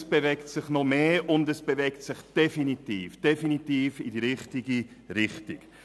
Es bewegt sich noch mehr und zwar definitiv in die richtige Richtung.